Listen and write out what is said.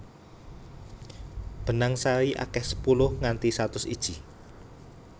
Benang sari akeh sepuluh nganti satus iji